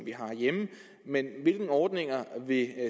vi har herhjemme men hvilke ordninger vil